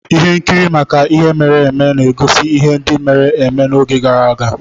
Ihe nkiri maka ihe mere eme na-egosi ihe ndị mere eme n'oge gara aga.